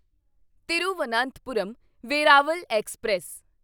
Thiruvananthapuram Veraval express